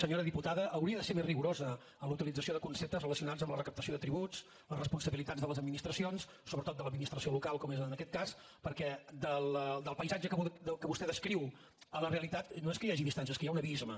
senyora diputada hauria de ser més rigorosa en la utilització de conceptes relacionats amb la recaptació de tributs les responsabilitats de les administracions sobretot de l’administració local com és en aquest cas perquè del paisatge que vostè descriu a la realitat no és que hi hagi distància és que hi ha un abisme